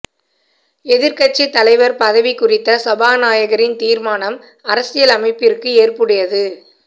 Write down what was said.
எதிர்க்கட்சித் தலைவர் பதவி குறித்த சபாநாயகரின் தீர்மானம் அரசியல் அமைப்பிற்கு ஏற்புடையது